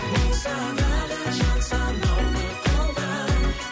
болсадағы жан санаулы қолдар